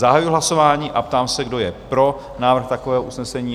Zahajuji hlasování a ptám se, kdo je pro návrh takového usnesení?